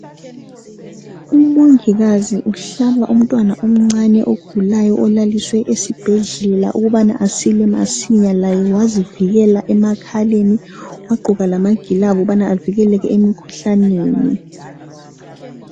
Umongikazi uhlaba umntwana omncane ogulayo olaliswe esibhedlela ukubana asile masinya laye wasivikela emakhaleni wagqoka lamagilovisi ukuba avikele emikhuhlaneni